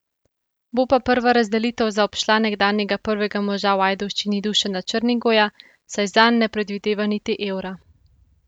Bo pa prva razdelitev zaobšla nekdanjega prvega moža v Ajdovščini Dušana Črnigoja, saj zanj ne predvideva niti evra.